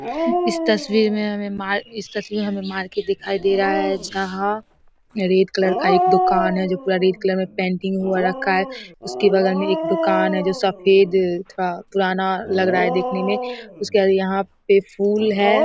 इस तस्वीर में हमे मार इस तस्वीर में हमे मार्केट दिखाई दे रहा है जहाँ रेड कलर का एक दुकान है जो पूरा रेड कलर में पेंटिंग हो रखा है उसके बगल में एक दुकान है जो सफेद थोड़ा पुराना लग रहा है देखने में उसके बाद यहाँ पे फूल है।